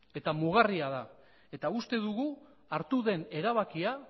eta mugarria da eta uste dugu hartu den erabakia